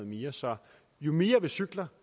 mere så jo mere vi cykler